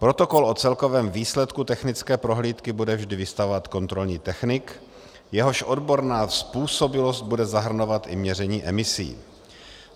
Protokol o celkovém výsledku technické prohlídky bude vždy vystavovat kontrolní technik, jehož odborná způsobilost bude zahrnovat i měření emisí.